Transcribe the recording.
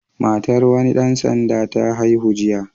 Matar wani ɗan sanda ta haihu jiya.